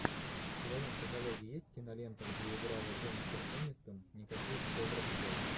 в твоем каталоге есть кинолента где играла дженифер энистон никаких добрых дел